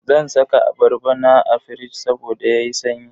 Zan saka abarba na a firij saboda yayi sanyi.